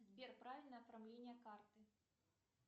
сбер правильное оформление карты